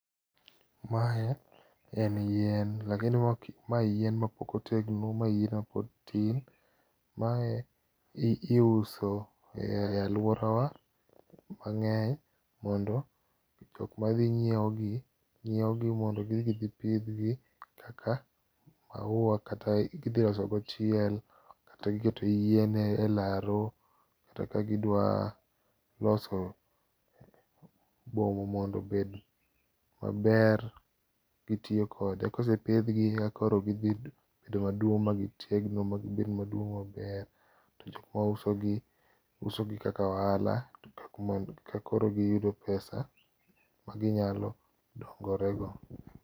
Mae en yien, lakini mae en yien ma pok otegno mae yien mapod tin. Mae iuso e aluorawa mang'eny mondo jok madhi ng'iewogi nyiewo mondo gidhi gipidhgi kaka mauwa kata gidhi loso go chiel kata giketo yien e laro kata ka gidwa loso boma mondo obed maber gitiyo kode. Kose pidhgi, eka koro gidhi bedo maduong' ma gitegno ma gibed maduong' maber. To jok mausogi, uso gi kaka ohala eka koro giyudo pesa ma ginyalo konyorego.